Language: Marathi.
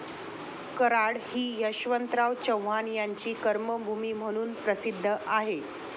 कराड हि यशवंतराव चव्हाण यांची कर्मभूमी म्हणून प्रसिद्ध आहे.